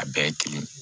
A bɛɛ ye kelen